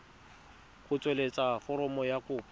go tsweletsa foromo ya kopo